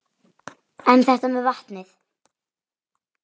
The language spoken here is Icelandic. En þetta með vatnið?